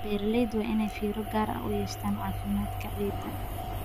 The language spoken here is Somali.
Beeralayda waa inay fiiro gaar ah u yeeshaan caafimaadka ciidda.